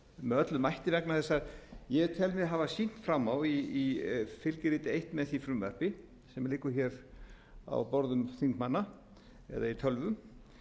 með öllum mætti vegna þess að ég tel mig hafa sýnt fram á í fylgiriti eins með því frumvarpi sem liggur hér á borðum þingmanna eða í tölvum